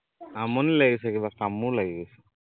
আমনি লাগি গৈছে কিবা কামোৰ লাগি গৈছে